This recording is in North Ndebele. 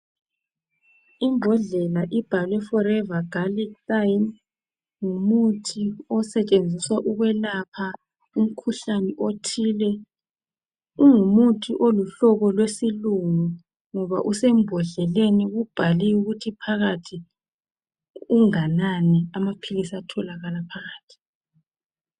Imbodlela ibhalwe forever galic thyme ngumuthi osetshenziswa ukwelapha umkhuhlane othile, ungumuthi olumhlobo lwesilungu ngoba usembodleleni ubhaliwe ukuthi phakathi unganani amaphilisi atholakala phakathi.